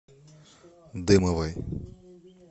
дымовой